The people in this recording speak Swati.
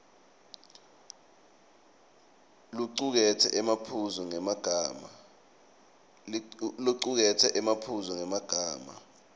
locuketse emaphuzu ngemagama